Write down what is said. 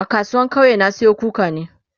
a kasuwan kauye na Sayo kukani